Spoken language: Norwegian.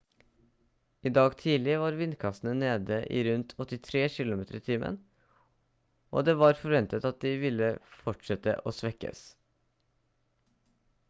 i dag tidlig var vindkastene nede i rundt 83 km/t og det var forventet at de ville fortsette å svekkes